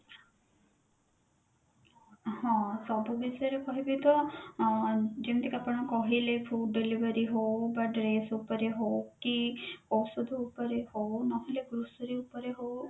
ହଁ ସବୁ ବିଷୟରେ କହିବି ତ ଆଁ ଯେମିତି କି ଆପଣ କହିଲେ food delivery ହଉ କି dress ଉପରେ ହଉ କି ଔଷଧ ଉପରେ ହଉ ନହେଲେ grocery ଉପରେ ହଉ